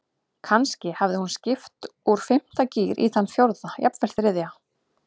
Kannski hafði hún skipt úr fimmta gír í þann fjórða, jafnvel þriðja.